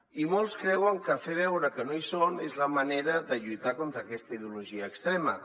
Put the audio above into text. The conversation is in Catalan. i molts creuen que fer veure que no hi són és la manera de lluitar contra aquesta ideologia extrema